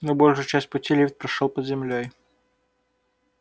но большую часть пути лифт прошёл под землёй